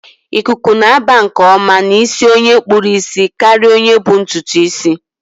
Ikuku na-aba nke ọma n' isi onye kpụrụ isi karịa onye bu ntụtụ isi